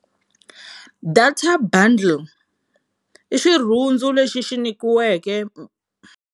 Data bundle i xirhundzu lexi xi nyikiweke.